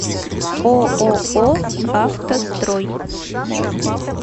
ооо автострой